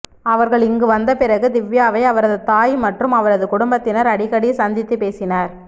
அவர்கள் இங்கு வந்த பிறகு திவ்யாவை அவரது தாய் மற்றும் அவரது குடும்பத்தினர் அடிக்கடி சந்தித்து பேசினர்